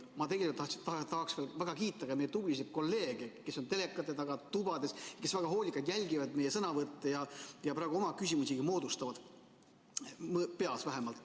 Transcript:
Aga ma tegelikult tahaksin väga kiita ka meie tublisid kolleege, kes on telekate taga tubades, kes väga hoolikalt jälgivad meie sõnavõtte ja praegu oma küsimusi moodustavad, peas vähemalt.